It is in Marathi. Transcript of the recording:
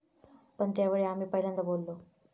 पण त्यावेळी आम्ही पहिल्यांदा बोललो'.